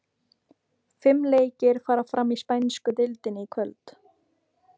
Fimm leikir fara fram í spænsku deildinni í kvöld.